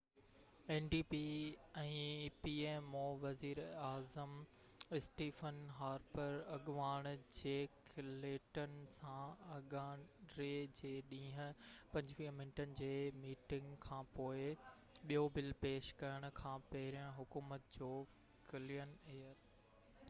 وزير ايظم Stephen Harper pmo ۾ ndp اڳواڻ جيڪ ليٽن سان اڱاري جي ڏينهن 25 منٽن جي ميٽنگ کانپوءِ ٻيو بل پيش ڪرڻ کان پهرين حڪومت جو ڪلين ايئر ايڪٽ کي جائزي لاءِ ٻين آل پارٽي ڪميٽي ڏانهن موڪلڻ تي متفق ٿيو آهي